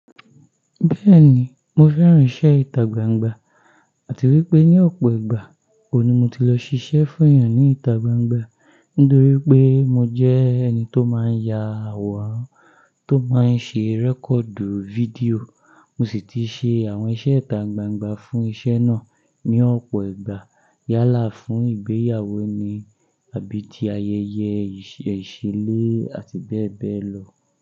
Bẹ́ẹ̀ni, mo fẹ́ran iṣẹ́ ìtà gbangba àti wípé ní ọ̀pọ̀ ìgbà ó ni mo ti lọ ṣiṣẹ́ fún èèyàn ní ìtà gbangba nítorí pé mo jẹ́ ẹni tó máa ń ya àwòrán, tó máa ń ṣe rẹ́kọ̀du fídíò. Mo sì ti ṣe àwọn iṣẹ́ ìtà gbangba fún iṣẹ́ náà ní ọ̀pọ̀ ìgbà. Yálà fún ìgbéyàwó ni, àbí ti ayẹyẹ ìṣílé àti bẹ́ẹ̀ bẹ́ẹ̀ lọ.